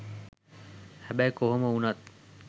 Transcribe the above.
හැබැයි කොහොම වුනත්